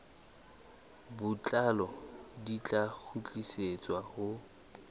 botlalo di tla kgutlisetswa ho